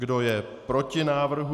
Kdo je proti návrhu?